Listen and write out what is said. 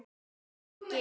Takk Biggi.